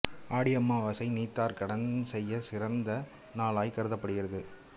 ஆடி அமாவாசை நீத்தார் கடன் செய்யச் சிறந்த நாளாய்க் கருதப்படுகிறது